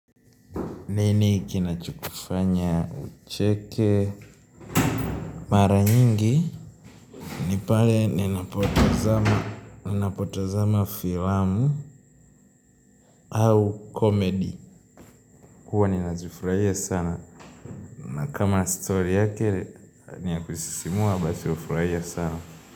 Nini kinachokufanya ucheke mara nyingi ni pale ninapotazama filamu au comedy, huwa ninazifurahia sana na kama story yake ni ya kusisimua basi hufuraia sana.